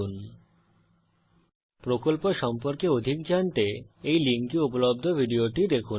000923 000922 spoken tutorial প্রকল্প সম্পর্কে অধিক জানতে এই লিঙ্কে উপলব্ধ ভিডিওটি দেখুন